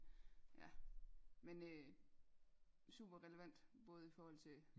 Ja men øh super relevant både i forhold til